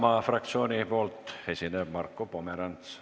Isamaa fraktsiooni nimel esineb Marko Pomerants.